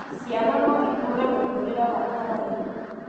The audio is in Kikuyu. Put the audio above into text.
Ciana no itũũre mũtũũrĩre wa kawaida.